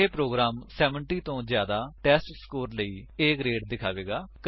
ਇਹ ਪ੍ਰੋਗਰਾਮ 70 ਤੋਂ ਜਿਆਦਾ ਟੈਸਟਸਕੋਰ ਲਈ A ਗਰੇਡ ਦਿਖਾਵੇਗਾ